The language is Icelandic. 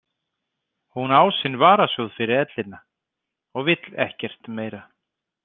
Hún á sinn varasjóð fyrir ellina og vill ekkert meira.